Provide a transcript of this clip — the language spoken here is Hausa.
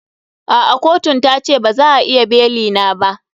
A'a kotun ta ce ba za a iya beli na ba.